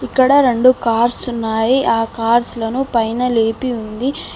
ఇక్కడ రెండు కార్స్ ఉన్నాయి ఆ కార్స్ లను పైన లేపి ఉంది.